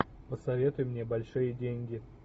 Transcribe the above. посоветуй мне большие деньги